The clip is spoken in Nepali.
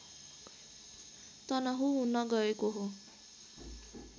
तनहुँ हुन गएको हो